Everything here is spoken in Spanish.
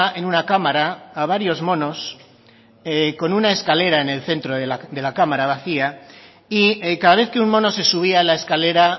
en una cámara a varios monos con una escalera en el centro de la cámara vacía y cada vez que un mono se subía a la escalera